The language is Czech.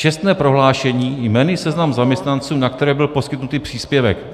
Čestné prohlášení, jmenný seznam zaměstnanců, na které byl poskytnut příspěvek.